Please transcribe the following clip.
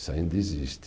Isso ainda existe.